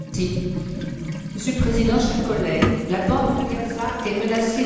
Monsieur le Président, chers collègues, la bande de Gaza est menacée d'étranglement.